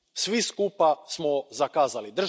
Svi skupa smo zakazali.